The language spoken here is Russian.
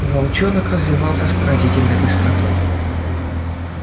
волчонок развивался с поразительной быстротой